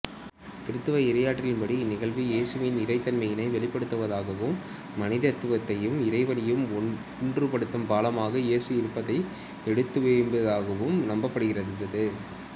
கிறித்தவ இறையியலின்படி இந்நிகழ்வு இயேசுவின் இறைத்தன்மையினை வெளிப்படுத்துவதாகவும் மனிதத்தையும் இறைவனையும் ஒன்றுபடுத்தும் பாலமாக இயேசு இருப்பதை எடுத்தியம்புவதாகவும் நம்பப்படுகின்றது